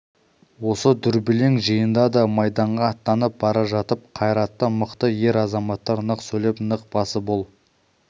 осы дүрбелең жиында да майданға аттанып бара жатып қайраты мықты ер-азаматтар нық сөйлеп нық басып ол